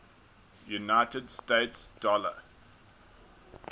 united states dollar